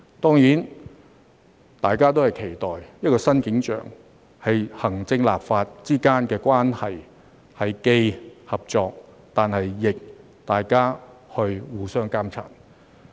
當然，大家都期待的一個新景象是，行政立法之間的關係既是合作，同時亦互相監察。